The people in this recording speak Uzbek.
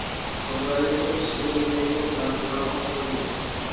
Qibray uchun issiqlik energiyasi tariflari oshirildi.